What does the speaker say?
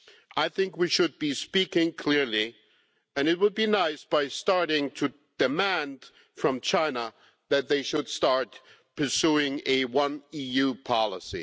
I think we should be speaking clearly and it would be nice to do so by starting to demand from China that they start pursuing a One EU' policy.